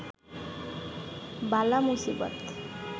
বালা মুসিবত